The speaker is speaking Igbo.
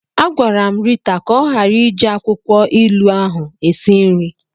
Agwara m Rita ka ọ ghara iji akwụkwọ ilu ahụ esi nri.